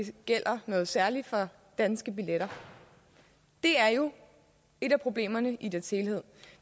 gælder noget særligt for danske billetter det er jo et af problemerne i dets helhed